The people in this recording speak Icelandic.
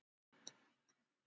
Ég vil tala um ást.